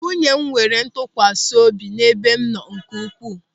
Nwunye m nwere ntụkwasị obi n'ebe m nọ nke ukwuu.